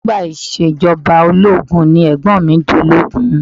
Nígbà ìṣèjọba ológun ni Ẹ̀gbọ́n mi dológun